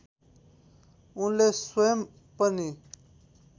उनले स्वयं पनि